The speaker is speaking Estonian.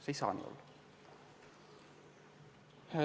See ei saa nii olla.